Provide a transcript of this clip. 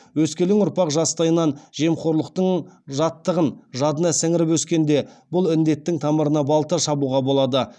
өскелең ұрпақ жастайынан жемқорлықтың жаттығын жадына сіңіріп өскенде бұл індеттің тамырына балта шабуға болады